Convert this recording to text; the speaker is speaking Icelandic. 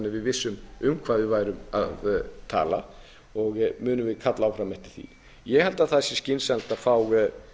að við vissum um hvað við værum að tala og munum við kalla áfram eftir því ég held að það sé skynsamlegt að